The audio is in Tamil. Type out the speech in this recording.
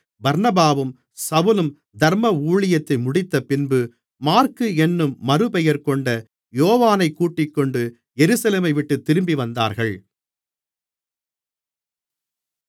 பர்னபாவும் சவுலும் தர்ம ஊழியத்தை முடித்தபின்பு மாற்கு என்னும் மறுபெயர்கொண்ட யோவானைக் கூட்டிக்கொண்டு எருசலேமைவிட்டுத் திரும்பிவந்தார்கள்